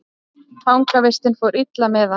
Fangavistin fór illa með hann.